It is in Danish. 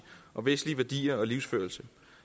og vestlige værdier og livsførelse